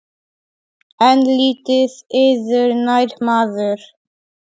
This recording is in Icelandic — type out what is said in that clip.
En lítið yður nær maður.